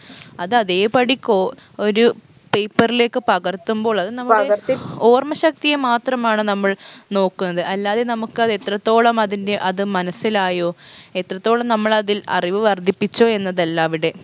അത് അതേ പടി കോ ഒരു paper ലേക്ക് പകർത്തുമ്പോൾ അത് ഓര്‍മ്മ ശക്തിയെ മാത്രമാണ് നമ്മൾ നോക്കുന്നത് അല്ലാതെ നമുക്കത് എത്രത്തോളം അതിൻറെ അത് മനസ്സിലായോ എത്രത്തോളം നമ്മളതിൽ അറിവ് വർധിപ്പിച്ചു എന്നതല്ല അവിടെ